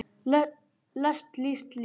lest list líst